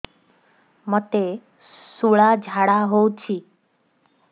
ମୋତେ ଶୂଳା ଝାଡ଼ା ହଉଚି